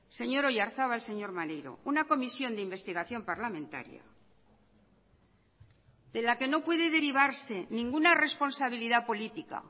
señor oyarzabal señor maneiro una comisión de investigación parlamentaria de la que no puede derivarse ninguna responsabilidad política